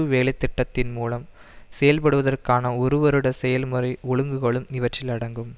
வேலை திட்டத்தின் மூலம் செயற்படுவதற்கான ஒரு வருட செயல்முறை ஒழுங்குகளும் இவற்றில் அடங்கும்